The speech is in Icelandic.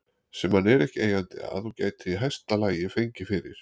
sem hann er ekki eigandi að og gæti í hæsta lagi fengið fyrir